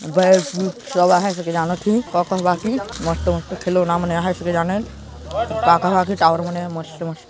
बै की खिलौना हे की जानत हुई कक ह बाकी मस्त-मस्त खिलौना मन हे की जानन का कहे की टावर मने मस्त-मस्त--